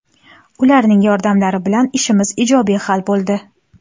Ularning yordamlari bilan ishimiz ijobiy hal bo‘ldi.